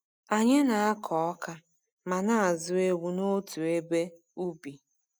Anyị na-akọ ọka ma na-azụ ewu n'otu ebe ubi.